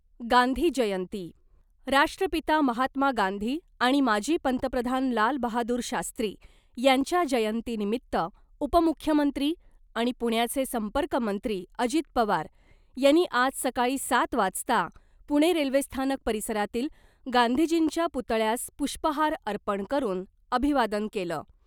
गांधी जयंती राष्ट्रपिता महात्मा गांधी आणि माजी पंतप्रधान लालबहादूर शास्त्री यांच्या जयंतीनिमित्त उपमुख्यमंत्री आणि पुण्याचे संपर्कमंत्री अजित पवार यांनी आज सकाळी सात वाजता पुणे रेल्वेस्थानक परिसरातील गांधींजींच्या पुतळ्यास पुष्पहार अर्पण करुन अभिवादन केलं .